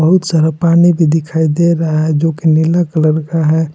बहुत सारा पानी भी दिखाई दे रहा है जो की नीला कलर का है।